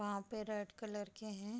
वहाँ पे red colour के हैं।